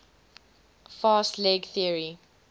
fast leg theory